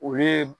O ye